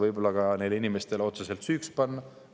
Me ei saa seda neile inimestele otseselt süüks panna.